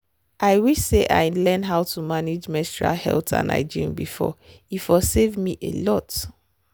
i wish say i learn how to manage menstrual health and hygiene before e for save me a lot.